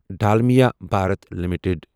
Dalmia Bharat limited